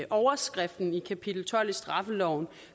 overskriften i kapitel tolv i straffeloven